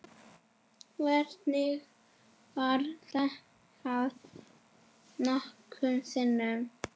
Virkið var stækkað nokkrum sinnum.